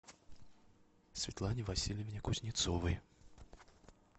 светлане васильевне кузнецовой